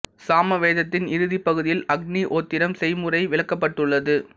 சாம வேதத்தின் இறுதிப் பகுதியில் அக்னி ஹோத்திரம் செய்முறை விளக்கப்பட்டுள்ளது